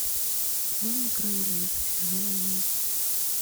дом на краю леса сезон одиннадцать